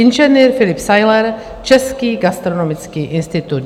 Inženýr Filip Sajler, Český gastronomický institut.